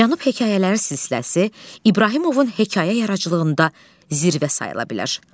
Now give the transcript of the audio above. Cənub hekayələri silsiləsi İbrahimovun hekayə yaradıcılığında zirvə sayıla bilər.